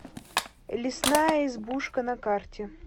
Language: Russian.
лесная избушка на карте